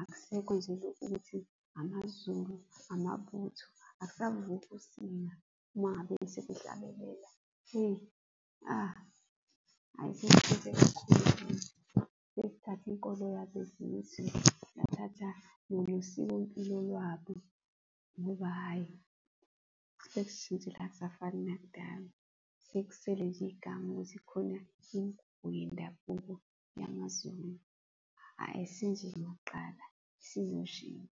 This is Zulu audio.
Akusekho nje ukuthi uthi amaZulu, amabutho, akusavuki usinga uma ngabe sebehlabelela hheyi, , hhayi sesishintshe kakhulu. Sesithathe inkolo yabezizwe, sathatha nosikompilo lwabo, ngoba hhayi, sesishintshile akusafani nakudala. Sekusele nje igama ukuthi kukhona imigubho yendabuko yamaZulu .